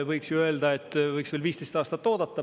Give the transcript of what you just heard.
Võiks ju öelda, et võiks veel 15 aastat oodata.